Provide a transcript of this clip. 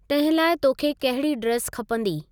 तंहिं लाइ तोखे कहिड़ी ड्रेस खपंदी?